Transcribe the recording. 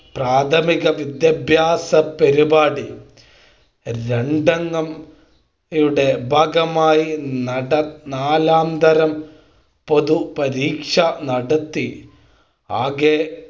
പ്രാഥമിക വിദ്യാഭ്യാസ പരിപാടി രണ്ടംഗം യുടെ ഭാഗമായി നാലാതരം പൊതു പരീക്ഷ നടത്തി ആകെ